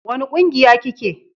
wani ƙungiya ki ke?